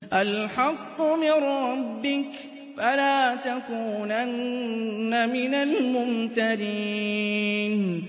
الْحَقُّ مِن رَّبِّكَ ۖ فَلَا تَكُونَنَّ مِنَ الْمُمْتَرِينَ